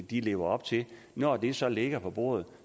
de lever op til når det så ligger på bordet